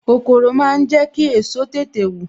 Kòkòrò máa ń jẹ ki èso tètè wù